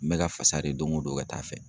N bɛ ka fasa de don ko don ka taa fɛ.